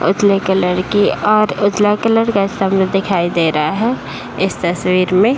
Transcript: एक लईका लड़की और उजला कलर का सामने दिखाई दे रहा है इस तस्वीर मे।